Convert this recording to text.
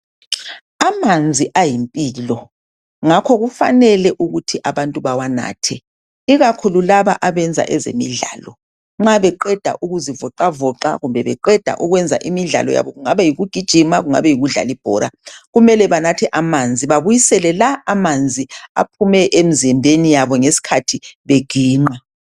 Amanzi ayimpilo ngakho kufanele ukuthi abantu bawanathe ikakhulu laba abenza ezemidlalo nxa beqeda ukuzivoxavoxa kumbe beqeda ukwenza imidlalo yabo kungabe yikugijima kungabe yikudlala ibhola kumele banathe amanzi babuyisele la amanzi aphume emzimbeni yabo ngesikhathi beginqa.